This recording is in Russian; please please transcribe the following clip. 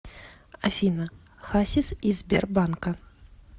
афина хасис из сбербанка